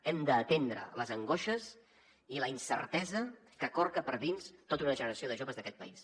hem d’atendre les angoixes i la incertesa que corca per dins tota una generació de joves d’aquest país